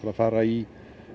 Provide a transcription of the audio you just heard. að fara í